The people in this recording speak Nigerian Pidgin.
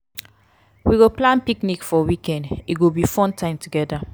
we go plan picnic for weekend; e go be fun time together.